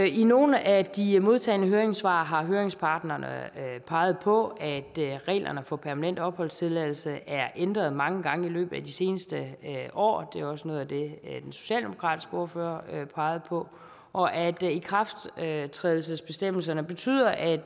i nogle af de modtagne høringssvar har høringsparterne peget på at reglerne for permanent opholdstilladelse er ændret mange gange i løbet af de seneste år det var også noget af det den socialdemokratiske ordfører pegede på og at ikrafttrædelsesbestemmelserne betyder at